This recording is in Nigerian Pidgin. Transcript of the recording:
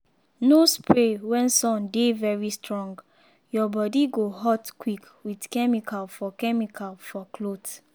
no spray when sun dey very strong—your body go hot quick with chemical for chemical for cloth.